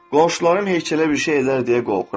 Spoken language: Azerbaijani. Qonşularım heykələ bir şey edərlər deyə qorxuram.